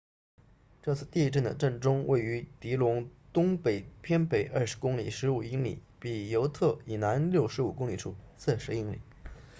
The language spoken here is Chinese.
这次地震的震中位于狄龙 dillon 东北偏北20公里15英里比尤特 butte 以南65公里处40英里